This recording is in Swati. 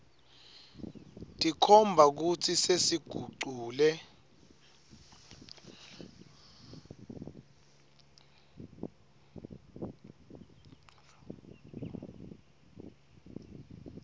tikhomba kutsi sesigucule